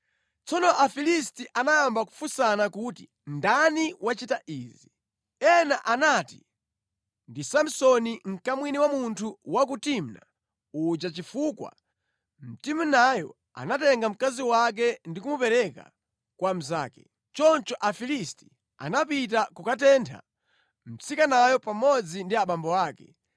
Tsono Afilisti anayamba kufunsana kuti, “Ndani wachita izi?” Ena anati, “Ndi Samsoni mkamwini wa munthu wa ku Timna uja chifukwa Mtimunayo anatenga mkazi wake ndi kumupereka kwa mnzake.” Choncho Afilisti anapita kukatentha mtsikanayo pamodzi ndi abambo ake.